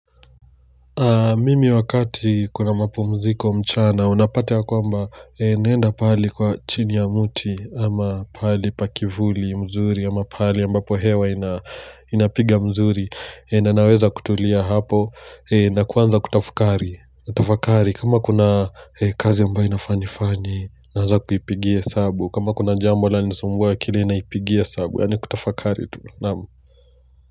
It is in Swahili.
Mimi wakati, kuna mapumziko mchana, unapata ya kwamba naenda pale kwa chini ya muti ama pali pakivuli mzuri ama pale ambapo hewa inapiga mzuri na naweza kutulia hapo. Na kwanza kutafakari kama kuna kazi ambayo inafaa nifani naanza kuipigie hesabu kama kuna jambo lanisumbua akilini naipigia sabu yaani kutafakari tu naam.